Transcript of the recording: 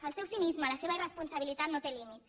el seu cinisme la seva irresponsabilitat no té límits